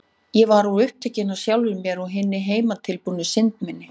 Ég var of upptekin af sjálfri mér og hinni heimatilbúnu synd minni.